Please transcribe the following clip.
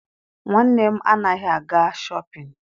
Nwanne m anaghị aga Shọpịn.